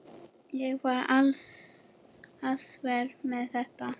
Ég var alsæl með þetta.